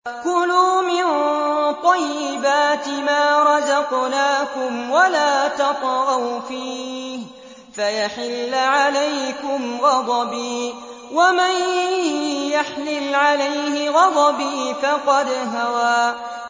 كُلُوا مِن طَيِّبَاتِ مَا رَزَقْنَاكُمْ وَلَا تَطْغَوْا فِيهِ فَيَحِلَّ عَلَيْكُمْ غَضَبِي ۖ وَمَن يَحْلِلْ عَلَيْهِ غَضَبِي فَقَدْ هَوَىٰ